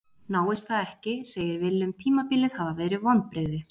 Náist það ekki segir Willum tímabilið hafa verið vonbrigði.